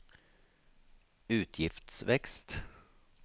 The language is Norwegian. utgiftsvekst